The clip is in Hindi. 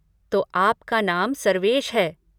तो आपका नाम सर्वेश है।